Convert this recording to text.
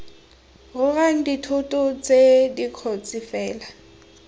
rorang dithoto tse dikotsi fela